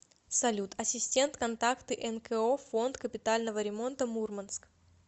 салют ассистент контакты нко фонд капитального ремонта мурманск